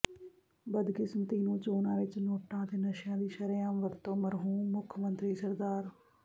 ਬਦਕਿਸਮਤੀ ਨੂੰ ਚੋਣਾਂ ਵਿਚ ਨੋਟਾਂ ਅਤੇ ਨਸ਼ਿਆਂ ਦੀ ਸ਼ਰ੍ਹੇਆਮ ਵਰਤੋਂ ਮਰਹੂਮ ਮੁੱਖ ਮੰਤਰੀ ਸ